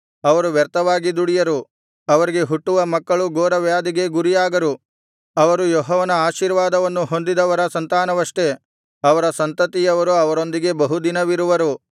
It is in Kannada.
ಅವರು ವ್ಯರ್ಥವಾಗಿ ದುಡಿಯರು ಅವರಿಗೆ ಹುಟ್ಟುವ ಮಕ್ಕಳು ಘೋರವ್ಯಾಧಿಗೆ ಗುರಿಯಾಗರು ಅವರು ಯೆಹೋವನ ಆಶೀರ್ವಾದವನ್ನು ಹೊಂದಿದವರ ಸಂತಾನವಷ್ಟೆ ಅವರ ಸಂತತಿಯವರು ಅವರೊಂದಿಗೆ ಬಹುದಿನವಿರುವರು